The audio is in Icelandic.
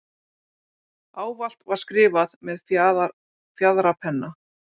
Ávallt var skrifað með fjaðrapenna.